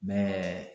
Mɛ